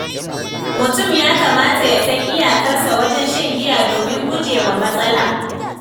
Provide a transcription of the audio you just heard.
Mutum ya kamata ya san iyakarsa wajen shan giya domin gujewa matsala.